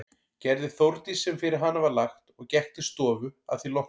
Gerði Þórdís sem fyrir hana var lagt og gekk til stofu að því loknu.